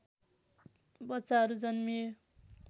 बच्चाहरू जन्मिए